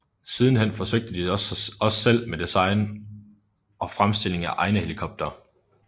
Sidenhen forsøgte de sig også selv med design og fremstilling af egne helikoptere